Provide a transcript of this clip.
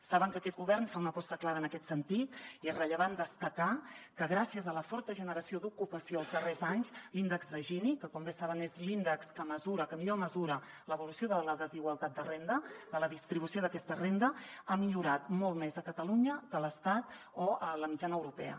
saben que aquest govern fa una aposta clara en aquest sentit i és rellevant destacar que gràcies a la forta generació d’ocupació els darrers anys l’índex de gini que com bé saben és l’índex que millor mesura l’evolució de la desigualtat de renda de la distribució d’aquesta renda ha millorat molt més a catalunya que a l’estat o a la mitjana europea